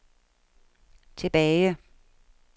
tilbage